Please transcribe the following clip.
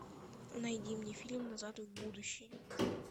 найди мне фильм назад в будущее